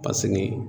Paseke